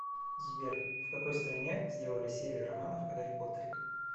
сбер в какой стране сделали серия романов о гарри поттере